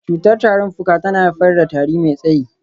Cutar tarin fuka tana haifar da tari mai tsayi.